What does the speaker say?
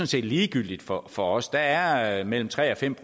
set ligegyldigt for for os der er mellem tre og fem